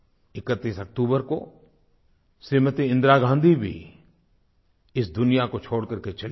31 अक्तूबर को श्रीमती इंदिरा गाँधी भी इस दुनिया को छोड़ करके चली गईं